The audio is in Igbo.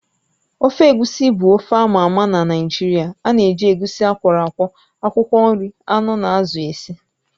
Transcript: Ofe egusi bụ ofe ámá ama na Naịjirịa ánà eji egusi akwọro akwọ, akwụkwọ nri, anụ na azụ esi